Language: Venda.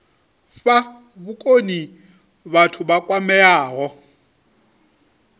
fha vhukoni vhathu vha kwameaho